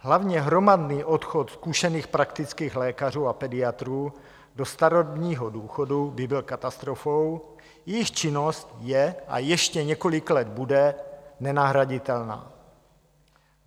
Hlavně hromadný odchod zkušených praktických lékařů a pediatrů do starobního důchodu by byl katastrofou, jejich činnost je a ještě několik let bude nenahraditelná.